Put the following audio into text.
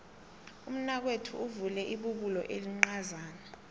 umnakwethu uvule ibubulo elincazana